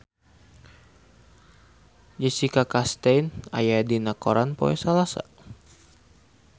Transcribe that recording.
Jessica Chastain aya dina koran poe Salasa